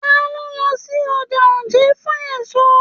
Talo n lọ sí ọjà Oje fún èso?